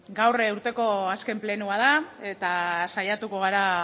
gaur urteko azken plenoa da eta saiatuko gara